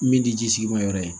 Min tɛ ji sigi ma yɔrɔ ye